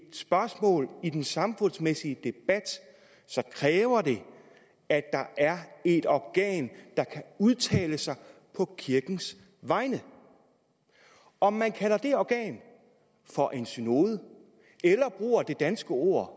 et spørgsmål i den samfundsmæssige debat kræver det at der er et organ der kan udtale sig på kirkens vegne om man kalder det organ for en synode eller bruger det danske ord